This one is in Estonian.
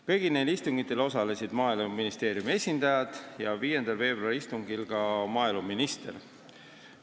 Kõigil nendel istungitel osalesid Maaeluministeeriumi esindajad, sh 5. veebruari istungil ka maaeluminister.